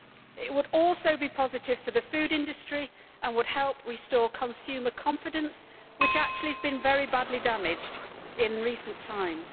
It would also be positive for the food industry and would help restore consumer confidence, which has been very badly damaged in recent times.